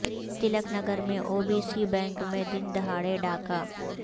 تلک نگر میں O B C bank میں دن دہاڑے ڈاکہ